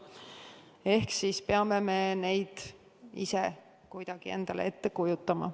Ehk siis peame me neid ise endale kuidagi ette kujutama.